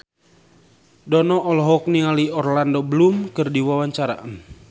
Dono olohok ningali Orlando Bloom keur diwawancara